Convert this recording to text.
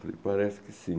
Falei, parece que sim.